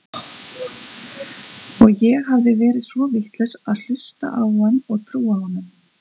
Og ég hafði verið svo vitlaus að hlusta á hann og trúa honum.